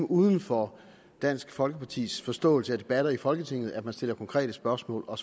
uden for dansk folkepartis forståelse af debatter i folketinget at man stiller konkrete spørgsmål og